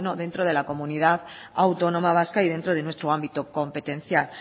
dentro de la comunidad autónoma vasca y dentro de nuestro ámbito competencial